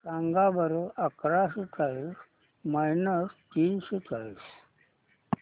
सांगा बरं अकराशे चाळीस मायनस तीनशे चाळीस